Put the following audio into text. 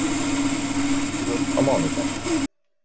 Lokatilraun á mánudaginn